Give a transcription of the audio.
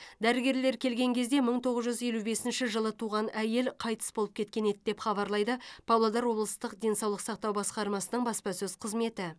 дәрігерлер келген кезде мың тоғыз жүз елу бесінші жылы туған әйел қайтыс болып кеткен еді деп хабарлайды павлодар облыстық денсаулық сақтау басқармасының баспасөз қызметі